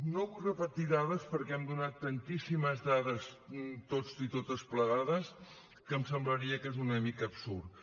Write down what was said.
no vull repetir dades perquè hem donat tantíssimes dades tots i totes plegades que em semblaria que és una mica absurd